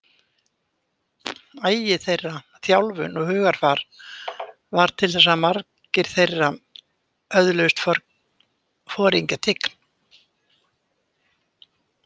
Agi þeirra, þjálfun og hugarfar varð til þess að margir þeirra öðluðust foringjatign.